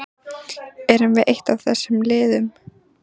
Erum við eitt af þessum liðum?